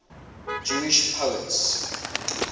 jewish poets